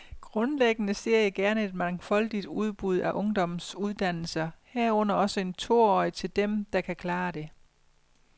Grundlæggende ser jeg gerne et mangfoldigt udbud af ungdomsuddannelser, herunder også en toårig til dem, der kan klare det.